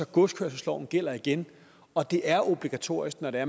godskørselsloven gælder igen og at det er obligatorisk at